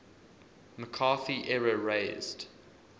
mccarthy era raised